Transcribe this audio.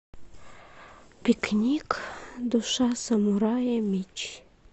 пикник душа самурая меч